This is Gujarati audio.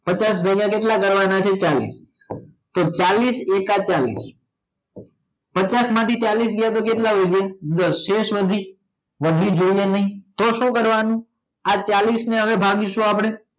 પચાસ ભાગ્ય કેટલા કરવાના છે ચાલીસ તો ચાલીસ એકા ચાલીસ પચાસ માંથી ચાલીસ જાય તો કેટલા વધે દસ શેષ વધી વધી કે નય તો શું કરવાનું આ ચાલીસ ને ભાગી સુ આપડે